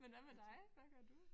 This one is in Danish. Men hvad med dig hvad gør du?